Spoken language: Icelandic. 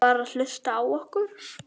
Var hlustað á okkur?